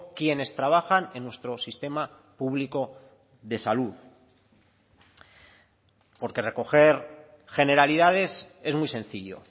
quienes trabajan en nuestro sistema público de salud porque recoger generalidades es muy sencillo